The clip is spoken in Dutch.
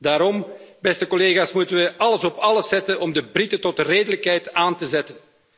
Daarom, beste collega's, moeten we alles op alles zetten om de Britten tot redelijkheid aan te zetten.